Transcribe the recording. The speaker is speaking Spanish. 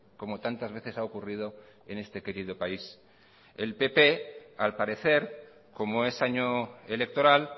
como tantas veces ha ocurrido en este querido país el pp al parecer como es año electoral